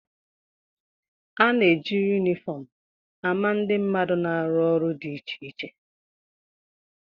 A na-eji yunifọm ama ndị mmadụ na-arụ ọrụ dị iche iche